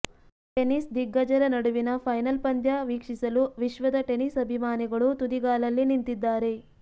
tennis ದಿಗ್ಗಜರ ನಡುವಿನ final ಪಂದ್ಯ ವೀಕ್ಷಿಸಲು ವಿಶ್ವದ ಟೆನಿಸ್ ಅಭಿಮಾನಿಗಳು ತುದಿಗಾಲಲ್ಲಿ ನಿಂತಿದ್ದಾರೆ